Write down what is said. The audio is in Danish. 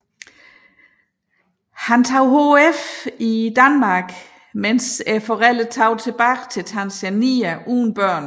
Han tog HF i Danmark mens forældrene tog tilbage til Tanzania uden børn